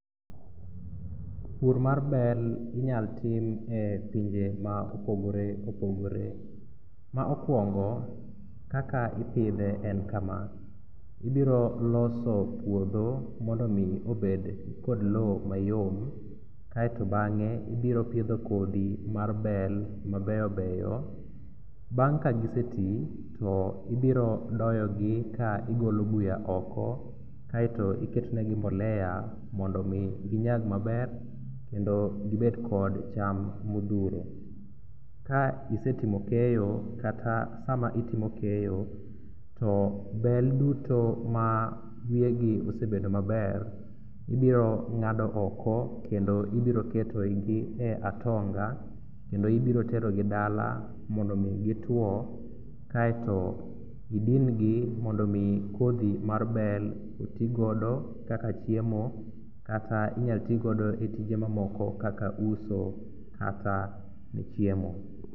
Pur mar bel inyal tim e pinje ma opogore opogore. Ma okuongo, kaka ipidhe en kama, ibiro loso puodho mondo omi obed kod lo mayom kaeto bang'e ibiro pidho kodhi mar bel mabeyobeyo. Bang' kagiseti to ibirodoyogi ka igolo buya oko kaeto iketonegi mbolea mondo omi ginyag maber kendo gibed kod cham modhuro. Ka isetimo keyo kata sama itimo keyo, to bel duto ma wiyegi osebedo maber ibiro ng'ado oko kendo ibiroketogi e atonga kendo ibiroterogi dala mondo omi gitwo kaeto idingi mondo omi kodhi mar bel otigodo kaka chiemo kata inyalo tigodo e tije mamaoko kaka uso kata ne chiemo.